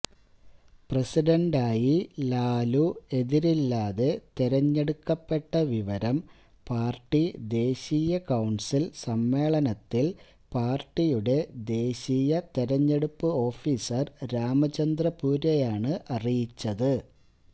പ്രസിഡന്റായി ലാലു എതിരില്ലാതെ തിരഞ്ഞെടുക്കപ്പെട്ട വിവരം പാര്ട്ടി ദേശീയകൊണ്സില് സമ്മേളനത്തില് പാര്ട്ടിയുടെ ദേശീയ തിരഞ്ഞെടുപ്പു ഓഫീസര് രാമചന്ദ്രപൂര്വയാണ് അറിയിച്ചത്